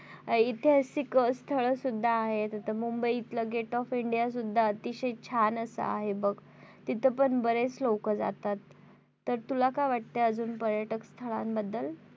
ऐतिहासिक स्थळ सुद्धा आहेत आता मुंबई इथलं gate of india सुद्धा अतिशय छान असं आहे बघ तिथं पण बरेच लोक जातात तर तुला काय वाटत अजून पर्यटक स्थळांबद्दल?